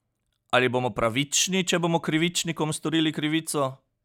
Ali bomo pravični, če bomo krivičnikom storili krivico?